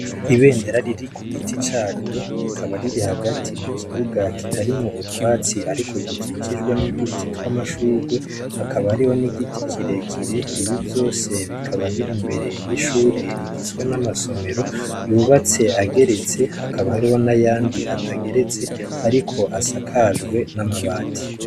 Ibendera riri kugiti caryo rikaba riri hagati mu kibuga kitarimw' utwatsi, ariko gikikijwe n' uduti tw' amashurwe, hakaba hariho n' igiti kirekire, ivyo vyose bikaba bir' imbere y' ishure rigizwe n' amasomero yubats' ageretse, hakaba hariho n' ayand' atagerets' arik' asakajwe n' amabati.